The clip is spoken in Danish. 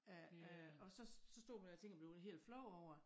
Øh øh og så så stod jeg og tænke og blev helt flov over